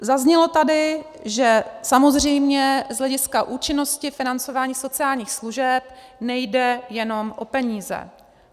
Zaznělo tady, že samozřejmě z hlediska účinnosti financování sociálních služeb nejde jenom o peníze.